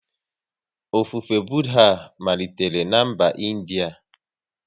Ofufe Budha malitere na mba India